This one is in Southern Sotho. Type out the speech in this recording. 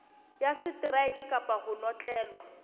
ya seteraeke kapa ho notlellwa